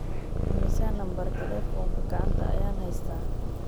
imisa nambar talefoonka gacanta ayaan haystaa